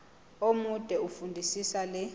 omude fundisisa le